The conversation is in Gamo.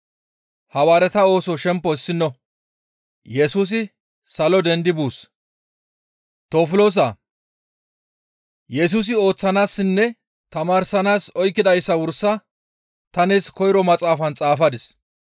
Tofiloosaa! Yesusi ooththanaassinne tamaarsanaas oykkidayssa wursa ta nees koyro maxaafaan xaafadis.